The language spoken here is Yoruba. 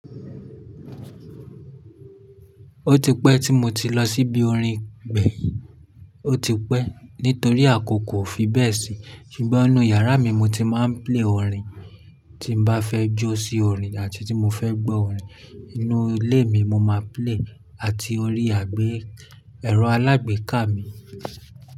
Ó ti pẹ́ tí mo ti lọ síbi orin gbẹ̀yìn, ó ti pẹ́. Nítorí àkọ́kọ́ ò fi bẹ́ẹ̀ sí. Ṣugbọn inú yàrá mi mo ti máa ń play orin tí n bá fẹ́ jó sí orin àti tí mo fẹ́ gbọ́ orin inú ilé mi mo máa play. Àti orí àgbẹ́, ẹ̀rọ alágbèéká mi.